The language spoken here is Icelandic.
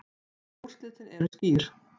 En úrslitin eru skýr.